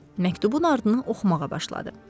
Məktubun ardını oxumağa başladı.